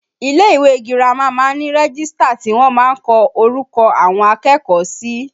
Ilé ìwé girama máa ń ní rẹ́gístà tí wọ́n máa ń kọ orúkọ àwọn akẹ́kọ̀ọ́ sí